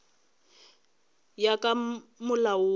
ya ka molao wo o